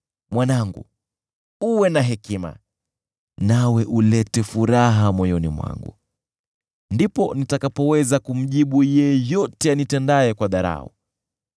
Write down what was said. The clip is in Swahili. Mwanangu, uwe na hekima, nawe ulete furaha moyoni mwangu, ndipo nitakapoweza kumjibu yeyote anitendaye kwa dharau.